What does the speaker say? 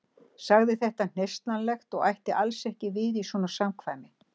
Sagði þetta hneykslanlegt og ætti alls ekki við í svona samkvæmi.